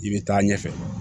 I bɛ taa ɲɛfɛ